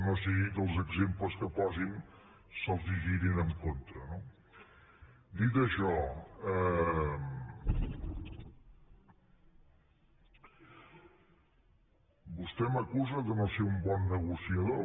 que no sigui que els exemples que posin se’ls girin en contra no dit això vostè m’acusa de no ser un bon negociador